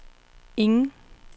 ingen